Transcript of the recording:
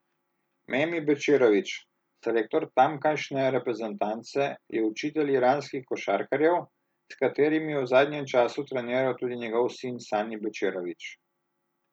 Memi Bečirović, selektor tamkajšnje reprezentance, je učitelj iranskih košarkarjev, s katerimi je v zadnjem času treniral tudi njegov sin Sani Bečirović.